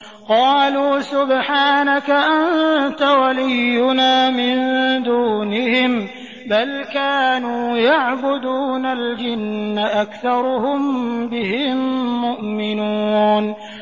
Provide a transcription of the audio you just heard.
قَالُوا سُبْحَانَكَ أَنتَ وَلِيُّنَا مِن دُونِهِم ۖ بَلْ كَانُوا يَعْبُدُونَ الْجِنَّ ۖ أَكْثَرُهُم بِهِم مُّؤْمِنُونَ